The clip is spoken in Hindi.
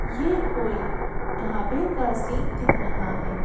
ये कोई ढाबे का सीन दिख रहा है।